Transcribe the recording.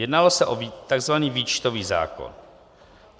Jednalo se o tzv. výčtový zákon.